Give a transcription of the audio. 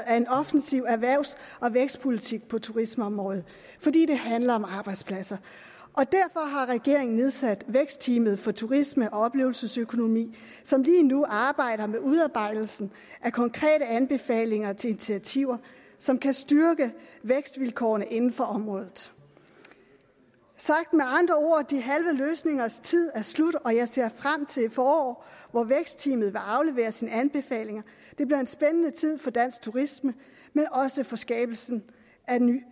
af en offensiv erhvervs og vækstpolitik på turismeområdet fordi det handler om arbejdspladser og derfor har regeringen nedsat vækstteamet for turisme og oplevelsesøkonomi som lige nu arbejder med udarbejdelsen af konkrete anbefalinger til initiativer som kan styrke vækstvilkårene inden for området sagt med andre ord de halve løsningers tid er slut og jeg ser frem til et forår hvor vækstteamet vil aflevere sine anbefalinger det bliver en spændende tid for dansk turisme men også for skabelsen